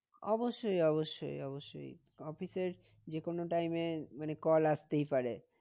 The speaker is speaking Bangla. অবশ্যই অবশ্যই অবশ্যই office এর যে কোনো time এ মানে call আসতেই পারে।